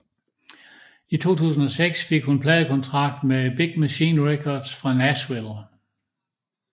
I 2006 fik hun en pladekontrakt med Big Machine Records fra Nashville